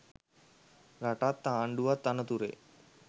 රටත් ආණ්ඩුවත් අනතුරේ.